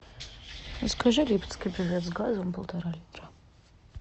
закажи липецкий бювет с газом полтора литра